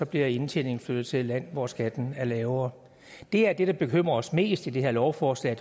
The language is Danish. bliver indtjeningen flyttet til et land hvor skatten er lavere det er det der bekymrer os mest i det her lovforslag